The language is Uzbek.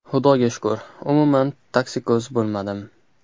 Xudoga shukur, umuman toksikoz bo‘lmadim.